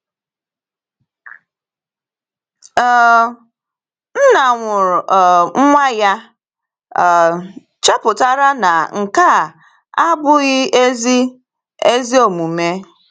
um Nna nwụrụ um nwa ya um chepụtara na nke a abụghị ezi ezi omume.